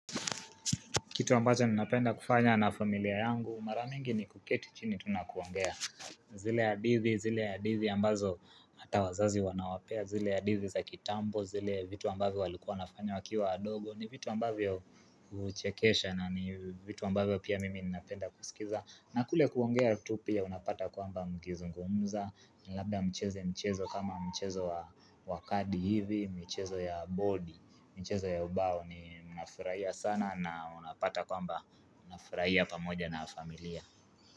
Kitu ambacho ninapenda kufanya na familia yangu maramingi ni kuketi chini tu na kuongea zile ya hadithi zile ya hadithi ambazo hata wazazi wanawapea zile ya hadithi za kitambo zile vitu ambavyo walikua nafanya wakiwa wadogo ni vitu ambavyo kuchekesha na ni vitu ambavyo pia mimi ninapenda kusikiza na kule kuongea tu pia unapata kwamba mkizungumza Labda mcheze mchezo kama mchezo wa kadi hivi michezo ya bodi, michezo ya ubao ni mnafurahia sana na unapata kwamba mnafurahia pamoja na familia.